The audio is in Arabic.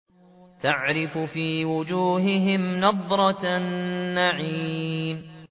تَعْرِفُ فِي وُجُوهِهِمْ نَضْرَةَ النَّعِيمِ